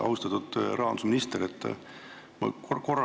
Austatud rahandusminister!